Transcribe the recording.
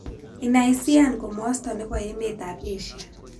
Inaisiian komosto ne po emetap asia